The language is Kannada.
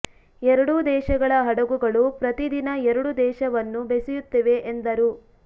ಎರಡೂ ದೇಶಗಳ ಹಡಗುಗಳು ಪ್ರತಿ ದಿನ ಎರಡೂ ದೇಶವನ್ನು ಬೆಸೆಯುತ್ತಿವೆ ಎಂದರು